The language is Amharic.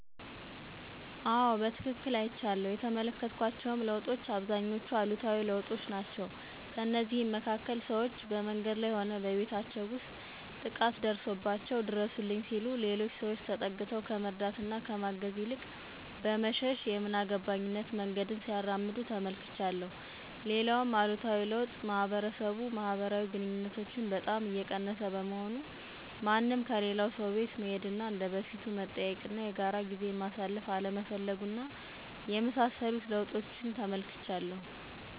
አዎ በትክክል አይቻለሁ። የተመለከትኳቸውም ለውጦች አብዛኞቹ አሉታዊ ለውጦች ናቸው። ከእነዚህም መካከል፦ ሰዎች በመንገድ ላይ ሆነ በቤታቸው ውስጥ ጥቃት ደርሶባቸዋል ድረሱልኝ ሲሉ ሌሎች ሰዎች ተጠግተው ከመርዳት እና ከማገዝ ይልቅ በመሸሽ የምን አገባኝነት መንገድን ሲያራምዱ ተመልክቻለሁ። ሌላውም አሉታዊ ለውጥ ማህበረሰብ ማህበራዊ ግንኙነቶችን በጣም እየቀነሰ በመሆኑ፤ ማንም ከሌላው ሰው ቤት መሄድ እና እንደ በፊቱ መጠያየቅ እና የጋራ ጊዜን ማሳለፍ አለመፈለጉ እና የመሳሰሉትን ለውጦች ተመልክቻለሁ።